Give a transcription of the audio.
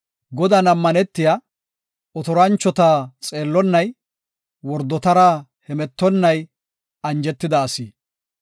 Godan ammanetiya, otoranchota xeellonnay, wordotara hemetonnay, anjetida asi.